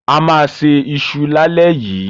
A máa se iṣu lálẹ́ yìí.